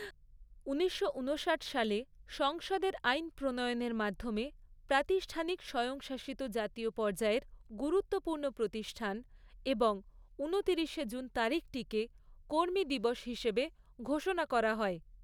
ঊনিশশো ঊনষাট সালে সংসদের আইন প্রণয়নের মাধ্যমে প্রাতিষ্ঠানিক স্বয়ংশাসিত জাতীয় পর্যায়ের গুরুত্বপূর্ণ প্রতিষ্ঠান এবং ঊনতিরিশে জুন তারিখটিকে কর্মী দিবস হিসেবে ঘোষনা করা হয়।